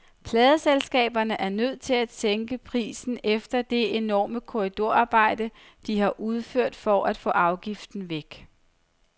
Pladeselskaberne er nødt til at sænke prisen efter det enorme korridorarbejde, de har udført for at få afgiften væk.